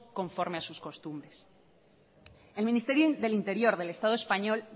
conforme a sus costumbres el ministerio del interior del estado español